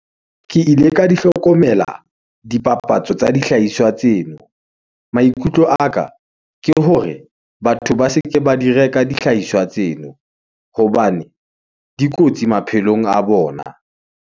Ke ile ka di hlokomela dipapatso tsa dihlahiswa tseno . Maikutlo a ka ke hore batho ba se ke ba di reka dihlahiswa tseno , hobane di kotsi maphelong a bona.